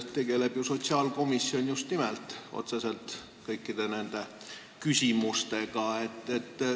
Tegeleb ju sotsiaalkomisjon otseselt kõikide nende küsimustega.